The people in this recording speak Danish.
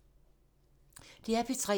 DR P3